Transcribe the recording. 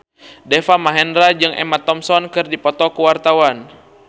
Deva Mahendra jeung Emma Thompson keur dipoto ku wartawan